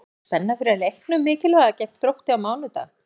Er mikil spenna fyrir leiknum mikilvæga gegn Þrótti á mánudag?